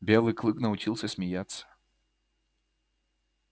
белый клык научился смеяться